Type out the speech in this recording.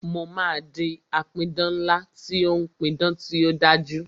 Mo máa di apidán ńlá tí ó ń pí idán tí ó dájú